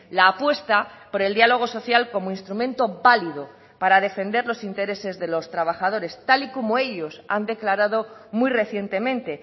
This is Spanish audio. la apuesta por el diálogo social como instrumento válido para defender los intereses de los trabajadores tal y como ellos han declarado muy recientemente